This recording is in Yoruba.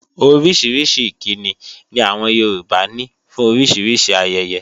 Orísìírísìí ìkíni ni àwọn Yorùbá ní fún oríṣiríṣi ayẹyẹ.